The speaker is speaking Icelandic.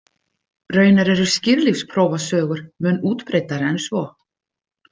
Raunar eru skírlífsprófasögur mun útbreiddari en svo.